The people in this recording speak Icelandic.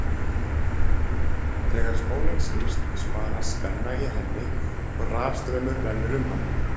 Þegar spólan snýst spanast spenna í henni og rafstraumur rennur um hana.